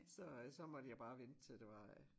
Så øh så måtte jeg bare vente til det var øh